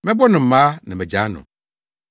Mɛbɔ no mmaa na magyaa no.”